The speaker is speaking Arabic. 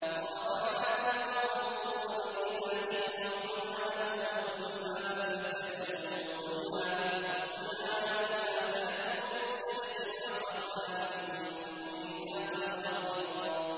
وَرَفَعْنَا فَوْقَهُمُ الطُّورَ بِمِيثَاقِهِمْ وَقُلْنَا لَهُمُ ادْخُلُوا الْبَابَ سُجَّدًا وَقُلْنَا لَهُمْ لَا تَعْدُوا فِي السَّبْتِ وَأَخَذْنَا مِنْهُم مِّيثَاقًا غَلِيظًا